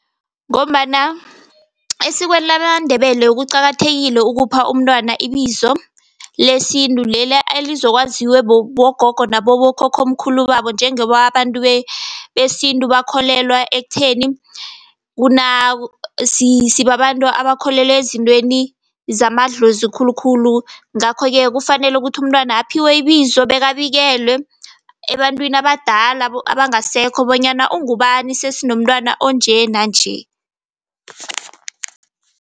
Ngombana esikweni lamaNdebele kuqakathekile ukupha umntwana ibizo lesintu, leli elizokwaziwe bogogo nabokhokhomkhulu babo. Njengoba abantu besintu bakholelwa ektheni sibabantu abakholelwa ezintweni zamadlozi khulukhulu. Ngakho-ke kufanele ukuthi umntwana aphiwe ibizo, bekabikelwe ebantwini abadala abangasekho bonyana ungubani. Sesinomntwana onje nanje.